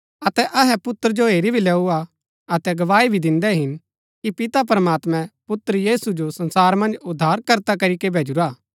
अतै अहै पुत्र जो हेरी भी लैऊआ अतै गवाई भी दिन्दै हिन कि पिता प्रमात्मैं पुत्र यीशु जो संसारा मन्ज उद्धारकर्ता करीके भेजुरा हा